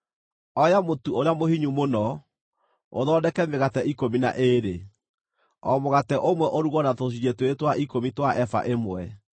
“Oya mũtu ũrĩa mũhinyu mũno, ũthondeke mĩgate ikũmi na ĩĩrĩ, o mũgate ũmwe ũrugwo na tũcunjĩ twĩrĩ twa ikũmi twa eba ĩmwe.